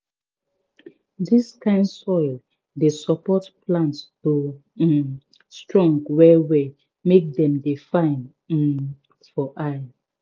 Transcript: dis kind soil dey support plant to um strong well well make dem dey fine um for eye